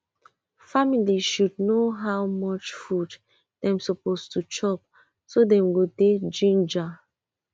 family should know how much food dem suppose to chop so dem go dey ginger